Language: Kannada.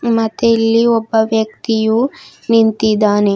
ಮತ್ತೆ ಇಲ್ಲಿ ಒಬ್ಬ ವ್ಯಕ್ತಿಯು ನಿಂತಿದ್ದಾನೆ.